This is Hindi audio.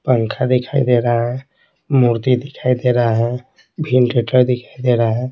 पंखा दिखाई दे रहा है मूर्ति दिखाई दे रहा है दिखाई दे रहा है।